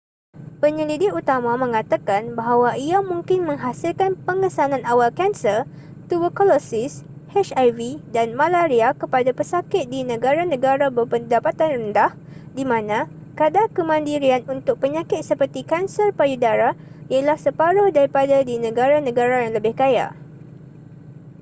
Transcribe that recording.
penyelidik utama mengatakan bahawa ia mungkin menghasilkan pengesanan awal kanser tuberkulosis hiv dan malaria kepada pesakit di negara-negara berpendapatan rendah di mana kadar kemandirian untuk penyakit seperti kanser payu dara ialah separuh daripada di negara-negara yang lebih kaya